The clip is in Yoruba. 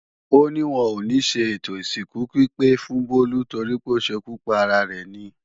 Ó ní wọn ò níṣe ètò ìsìnkú pípé fún Bólú torípé ó ṣekú para rẹ̀ ni